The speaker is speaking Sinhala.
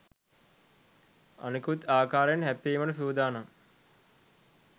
අනෙකුත් ආකාරයෙන් හැප්පීමට සූදානම්